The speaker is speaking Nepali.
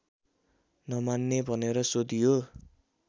नमान्ने भनेर सोधियो